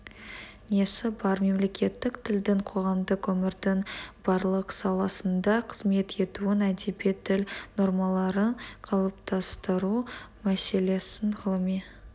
несі бар мемлекеттік тілдің қоғамдық өмірдің барлық саласында қызмет етуін әдеби тіл нормаларын қалыптастыру мәселесін ғылыми